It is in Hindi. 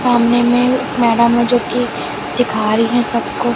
सामने में एक मैडम है जो कि सीखा रही है सबको--